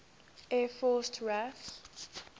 air force raaf